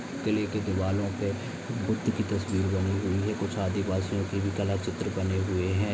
किले की दीवारों पे बुद्ध की तस्वीर बनी हुई है कुछ आदिवासियों की भी कला चित्र बने हुए है।